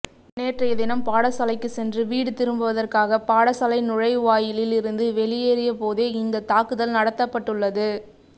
நேற்றையதினம் பாடசாலைக்கு சென்று வீடு திரும்புவதற்காக பாடசாலை நுழைவாயிலில் இருந்து வெளியேறிய போதேஇந்த தாக்குதல் நடத்தப்பட்டுள்ளது